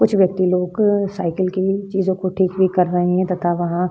कुछ व्यक्ति लोग साइकिल की चीजों को ठीक भी कर रहें हैं तथा वहाँ --